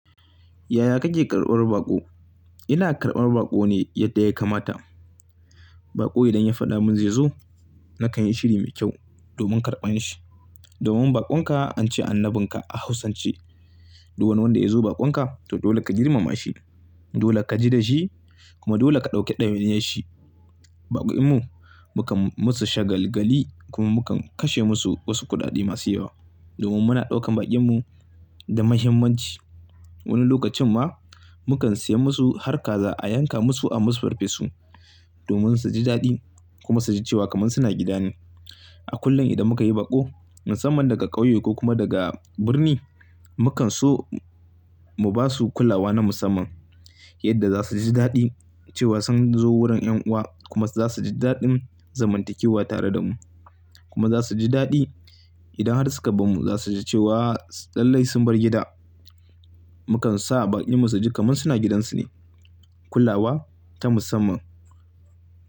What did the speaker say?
Yaya kake karɓar baƙo? Ina karɓar baƙo ne yadda ya kamata. Baƙo idan ya faɗa mun zai zo, na kan yi shiri mai kyau domin karɓan shi. Domin baƙon ka an ce annabin ka a hausan ce. Du wani wanda ya zo baƙon ka, to dole ka girmama shi. Dole ka ji da shi kuma dole ka ɗauki ɗawainiyar shi. Baƙin mu mukan musu shagalgali kuma mukan kashe musu wasu kuɗaɗe masu yawa. Domin muna ɗaukan baƙin mu da muhimmanci. Wani lokacin ma mukan siya musu har kaza a yanka musu a musu farfesu, domin su ji daɗi kuma su ji cewa kaman suna gida ne. A kullum idan muka yi baƙo, musamman daga ƙauye ko kuma daga birni, mukan so mu basu kulawa na musamman. Yadda za su ji daɗi cewa sun zo wurin ƴan uwa kuma za su ji daɗin zamantakewa tare da mu. Kuma za su ji daɗi idan har suka barmu za su ji cewa lallai sun bar gida. Mukan sa baƙin mu su ji kaman suna gidansu ne. Kulawa ta musamman.